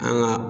An ka